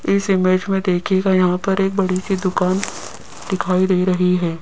इस इमेज में देखिएगा यहां पर एक बड़ी सी दुकान दिखाई दे रही है।